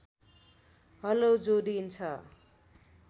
हलो जोडिन्छ